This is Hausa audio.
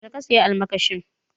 Yaushe ka saya almakashin?